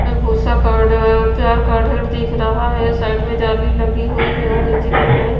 में भूसा प्यार का ढेर दिख रहा है साइड में जाली लगी हुई है और नीचे कही कही --